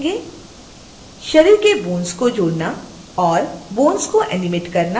शरीर में bones जोड़ना और bones को एनीमेट करना